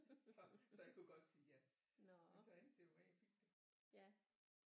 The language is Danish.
Så så han kunne godt sige ja men så endte det jo med at jeg fik det